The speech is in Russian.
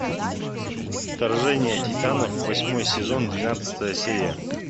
вторжение титанов восьмой сезон двенадцатая серия